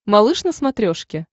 малыш на смотрешке